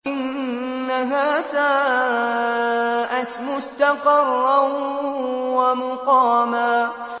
إِنَّهَا سَاءَتْ مُسْتَقَرًّا وَمُقَامًا